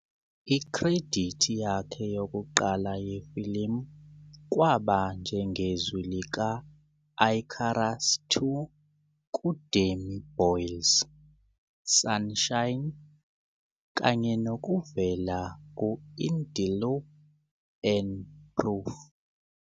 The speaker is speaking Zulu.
Ikhredithi yakhe yokuqala yefilimu kwaba njengezwi lika- Icarus II kuDanny Boyle 's "Sunshine", kanye nokuvela ku- "In the Loop" and "Proof".